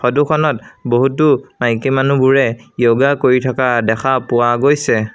Photo খনত বহুতো মাইকী মানুহবোৰে য়ৌগা কৰি থকা দেখা পোৱা গৈছে।